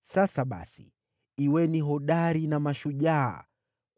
Sasa basi, kuweni hodari na mashujaa,